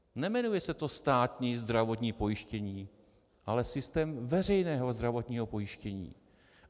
Nejmenuje se to státní zdravotní pojištění, ale systém veřejného zdravotního pojištění.